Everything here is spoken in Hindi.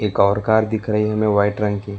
एक और कार दिख रही हमें वाइट रंग की।